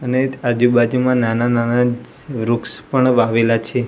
અને આજુબાજુમાં નાના નાના વૃક્ષ પણ વાવેલા છે.